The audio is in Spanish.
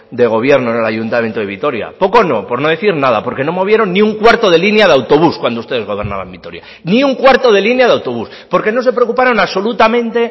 de gobierno en el ayuntamiento de vitoria poco no por no decir nada porque no movieron ni un cuarto de línea de autobús cuando ustedes gobernaban vitoria ni un cuarto de línea de autobús porque no se preocuparon absolutamente